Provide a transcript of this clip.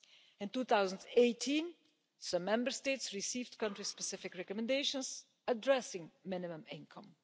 In 2018, some Member States received country-specific recommendations addressing minimum income.